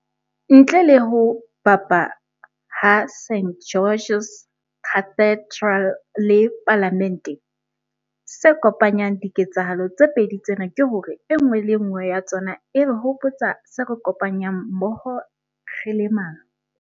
Ntle le ho bapa ha St George's Cathedral le Palamente, se kopanyang diketsahalo tse pedi tsena ke hore e nngwe le e nngwe ya tsona e re hopotsa se re kopanyang mmoho re le ma.